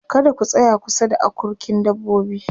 kada ku tsaya kusa da akurkin dabbobi